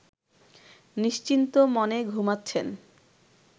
নিশ্চিন্ত মনে ঘুমাচ্ছেন